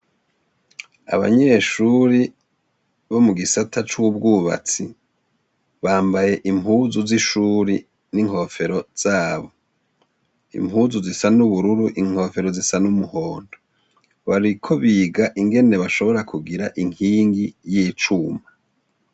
Abanyeshuri bo mu gisata c'ubwubatsi bambaye impuzu z'ishuri n'inkofero zabo. Impuzu zisa n'ubururu, inkofero zisa n'umuhondo. Bariko biga ingene bashobora kugira inkingi y'icuma.